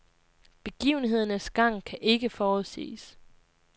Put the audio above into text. Begivenhedernes gang kan ikke forudsiges.